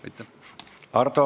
Aitäh!